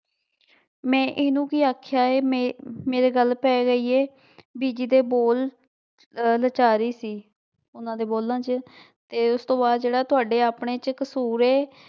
ਮੈਂ ਇਹਨੂੰ ਕੀ ਆਖਿਆ ਹੈ ਮੈਂ ਮੇਰੇ ਗੱਲ ਪੈ ਰਹੀ ਹੈ ਬੀਜੀ ਦੇ ਬੋਲ ਅਹ ਲਾਚਾਰੀ ਸੀ, ਉਹਨਾਂ ਦੇ ਬੋਲਾਂ ਚ ਤੇ ਉਸ ਤੋਂ ਬਾਅਦ ਜਿਹੜਾ ਤੁਹਾਡੇ ਆਪਣੇ ਚ ਕਸੂਰ ਹੈ